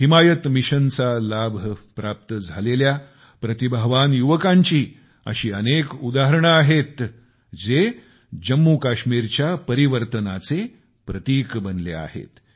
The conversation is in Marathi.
हिमायत मिशन च्या लाभ प्राप्त झालेले प्रतिभावान युवकांची अशी अनेक उदाहरणे आहेत जे जम्मूकाश्मीरच्या परिवर्तनाचे प्रतिक बनले आहेत